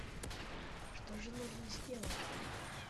что же нужно сделать